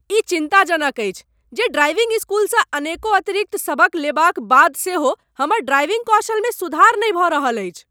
ई चिन्ताजनक अछि जे ड्राइविंग स्कूलसँ अनेको अतिरिक्त सबक लेबाक बाद सेहो हमर ड्राइविंग कौशलमे सुधार नहि भऽ रहल अछि।